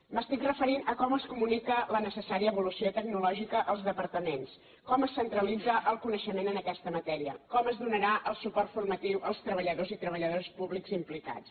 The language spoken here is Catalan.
m’estic referint a com es comunica la necessària evolució tecnològica als departaments com es centralitza el coneixement en aquesta matèria com es donarà el suport formatiu als treballadors i treballadores públics implicats